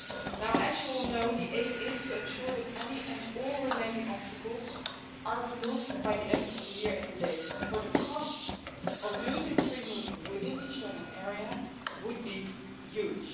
Now as you all know, the aim is to ensure that any and all remaining obstacles are removed by the end of the year at the latest, for the costs of losing free movement within the Schengen Area would be huge.